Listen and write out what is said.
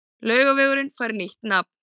Laugavegurinn fær nýtt nafn